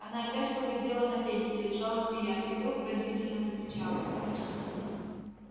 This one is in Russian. она опять поглядела на пень где лежала змея и вдруг пронзительно закричала